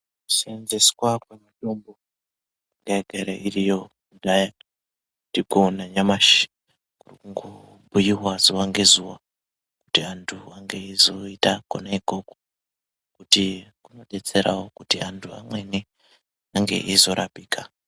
Kuseenzeseswa kwemitombo yanga yagara iriyo kudhaya tirikuona nyamashi kurikungobhuyiwa zuva ngezuva kuti vantu vange veizoita kona ukoko kuti kunodetserawo kuti antu amweni ange eizorapika.